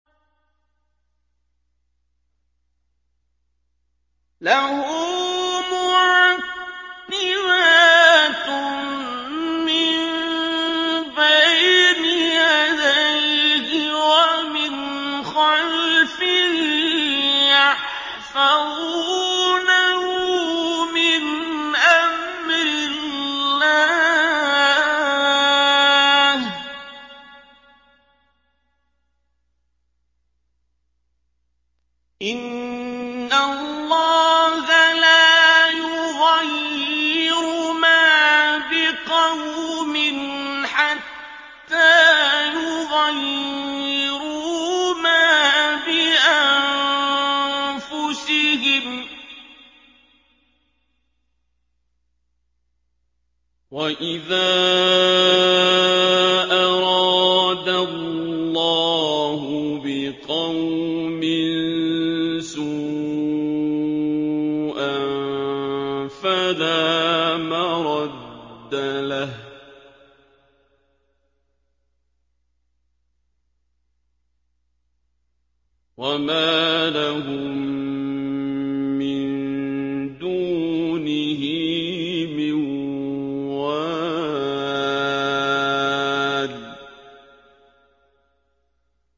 لَهُ مُعَقِّبَاتٌ مِّن بَيْنِ يَدَيْهِ وَمِنْ خَلْفِهِ يَحْفَظُونَهُ مِنْ أَمْرِ اللَّهِ ۗ إِنَّ اللَّهَ لَا يُغَيِّرُ مَا بِقَوْمٍ حَتَّىٰ يُغَيِّرُوا مَا بِأَنفُسِهِمْ ۗ وَإِذَا أَرَادَ اللَّهُ بِقَوْمٍ سُوءًا فَلَا مَرَدَّ لَهُ ۚ وَمَا لَهُم مِّن دُونِهِ مِن وَالٍ